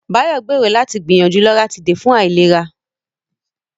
Bayo gbèrò láti gbìyànjú Loratiday fún àìlera.